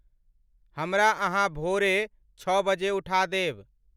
हमरा अहाँभोरे छः बजे उठा देब